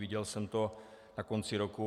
Viděl jsem to na konci roku.